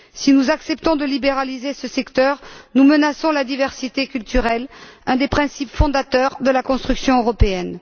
Si nous acceptons de libéraliser ce secteur, nous menaçons la diversité culturelle, un des principes fondateurs de la construction européenne.